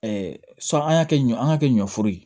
sɔni an y'a kɛ ɲɔ an ga kɛ ɲɔforo ye